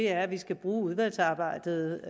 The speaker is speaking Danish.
at vi skal bruge udvalgsarbejdet